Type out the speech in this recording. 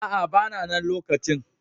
A'a, ba na na lokacin.